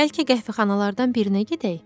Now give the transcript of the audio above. Bəlkə qəhvəxanalardan birinə gedək?